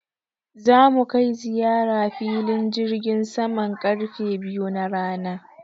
Za mu kai ziyara filin jirgin saman karfe biyu na rana.